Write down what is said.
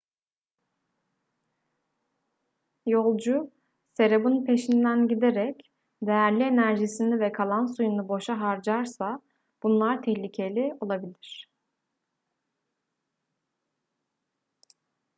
yolcu serabın peşinden giderek değerli enerjisini ve kalan suyunu boşa harcarsa bunlar tehlikeli olabilir